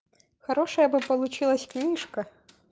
хорошая бы получилось книжка